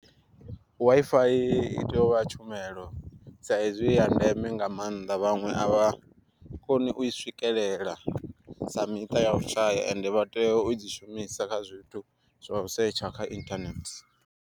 WiFi i tea u vha tshumelo, sa hezwi iya ndeme nga maanḓa vhaṅwe a vha koni u i swikelela sa miṱa ya u shaya ende vha tea u dzi shumisa kha zwithu zwa u setsha kha inthanethe.